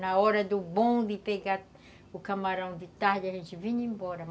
Na hora do bonde, pegar o camarão de tarde, a gente vinha embora.